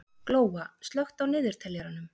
Glóa, slökktu á niðurteljaranum.